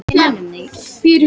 Ég leyni því ekki.